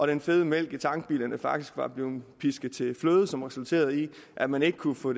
den fede mælk i tankbilerne faktisk blev pisket til fløde som resulterede i at man ikke kunne få